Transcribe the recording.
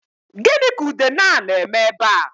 Gịnị ka udene a na-eme ebea?